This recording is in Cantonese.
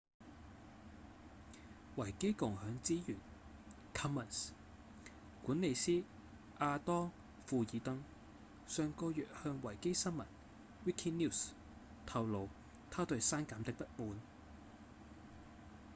維基共享資源 commons 管理師亞當‧庫爾登上個月向維基新聞 wikinews 透露他對刪減的不滿